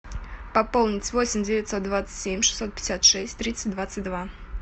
пополнить восемь девятьсот двадцать семь шестьсот пятьдесят шесть тридцать двадцать два